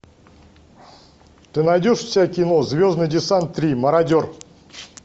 ты найдешь у себя кино звездный десант три мародер